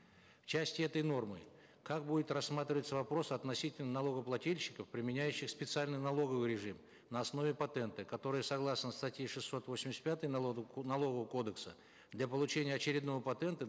в части этой нормы как будет рассматриваться вопрос относительно налогоплательщиков применяющих специальный налоговый режим на основе патента которые согласно статьи шестьсот восемьдесят пятой налогового кодекса для получения очередного патента